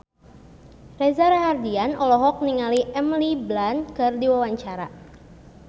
Reza Rahardian olohok ningali Emily Blunt keur diwawancara